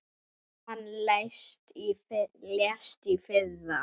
Hann lést í fyrra.